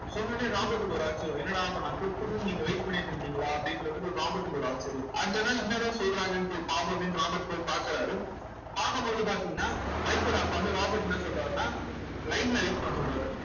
சொன்னவுடனே ராபர்ட்க்கு ஒரு ஆச்சரியம் என்னடா அப்ப நான் quit பண்ணனும்னு நீங்க wait பண்ணிட்டு இருந்தீங்களா அப்படின்ற மாதிரி ஒரு ராபர்ட்க்கு ஒரு ஆச்சரியம் அடுத்து என்ன என்னதான் சொல்றங்கன்னு போய் பார்ப்போமேன்னு ராபர்ட் போய் பாக்குறாரு பாக்கும்போது பாத்தீங்கன்னா மைக்கோட அப்பா வந்து ராபர்ட் என்ன சொல்றாருன்னா line ல wait பண்ண சொல்றாரு